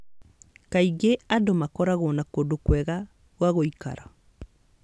Kaingĩ andũ nĩ makoragwo na kũndũ kwega gwa gũikara